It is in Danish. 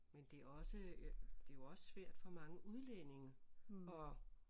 Men det er også det er jo også svært for mange udlændinge at